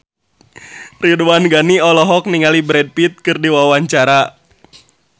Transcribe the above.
Ridwan Ghani olohok ningali Brad Pitt keur diwawancara